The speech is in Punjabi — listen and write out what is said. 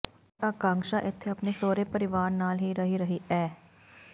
ਪਰ ਅਕਾਂਕਸ਼ਾ ਇਥੇ ਆਪਣੇ ਸਹੁਰੇ ਪਰਿਵਾਰ ਨਾਲ ਹੀ ਰਹਿ ਰਹੀ ਐ